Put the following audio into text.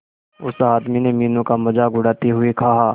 उस आदमी ने मीनू का मजाक उड़ाते हुए कहा